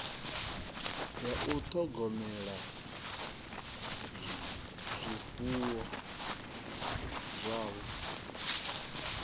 ya u ṱhogomela zwifuwo zwavho